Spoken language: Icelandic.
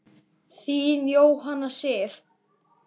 Þín, Jóhanna Sif.